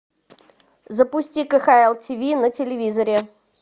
запусти кхл тв на телевизоре